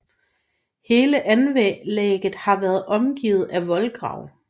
Hele anlægget har været omgivet af voldgrav